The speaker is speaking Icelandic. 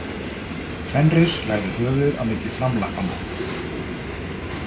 Fenrir lagði höfuðið á milli framlappanna.